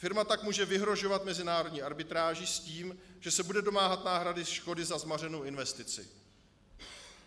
Firma tak může vyhrožovat mezinárodní arbitráží s tím, že se bude domáhat náhrady škody za zmařenou investici.